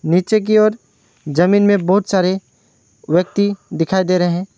नीचे की ओर जमीन में बहुत सारे व्यक्ति दिखाई दे रहे हैं।